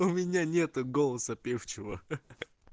у меня нет голоса певчего ха ха